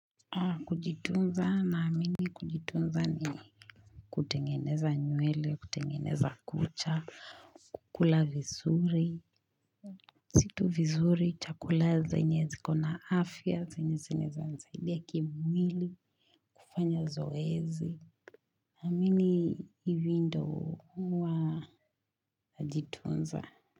Kujitunza na amini kujitunza nini kutengeneza nywele kutengeneza kucha kula vizuri Situ vizuri chakula zenye zikona afya zenye zinaeza nisaidia kimwili kufanya zoezi amini hivi ndo wa Jitunza.